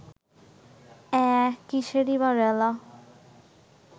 অ্যাঁ, কিসেরি-বা রেলা